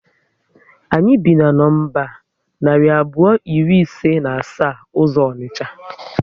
Anyị bi na nọmba narị abụọ iri ise na asa uzo onicha